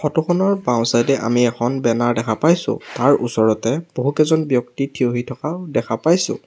Photo খনৰ বাওঁ side এ আমি এখন বেনাৰ দেখা পাইছোঁ তাৰ ওচৰতে বহুকেইজন ব্যক্তি থিয়হি থকা দেখা পাইছোঁ।